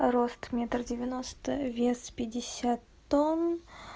рост метр девяносто вес пятьдесят тонн